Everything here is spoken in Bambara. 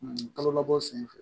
Kalo labɔ sen fɛ